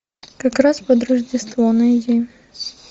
как раз под рождество найди